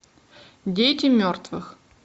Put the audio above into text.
дети мертвых